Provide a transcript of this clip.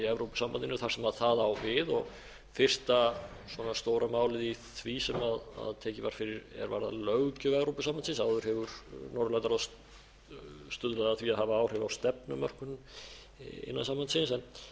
evrópusambandinu þar sem það á við fyrsta stóra málið í því sem tekið var fyrir er varðar löggjöf evrópusambandsins áður hefur norðurlandaráð stuðlað að því að hafa áhrif á stefnumörkun innan sambandsins